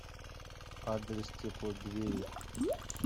адрес теплодвери